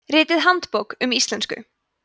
ritið handbók um íslensku